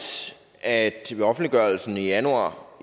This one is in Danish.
at ved offentliggørelsen i januar